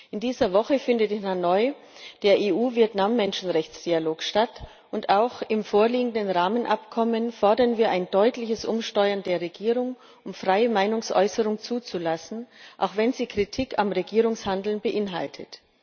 In dieser Woche findet in Hanoi der Menschenrechtsdialog EU Vietnam statt. Auch im vorliegenden Rahmenabkommen fordern wir ein deutliches Umsteuern der Regierung, um freie Meinungsäußerung zuzulassen, auch wenn sie Kritik am Regierungshandeln beinhaltet.